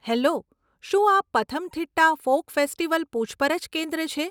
Hello , શું આ Pathanamthitta folk festival પૂછપરછ કેન્દ્ર છે?